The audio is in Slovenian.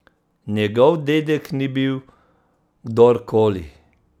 Njegov dedek ni bil kdor koli!